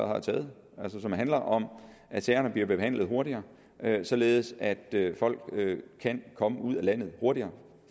har taget det handler om at sagerne bliver behandlet hurtigere således at folk kan komme ud af landet hurtigere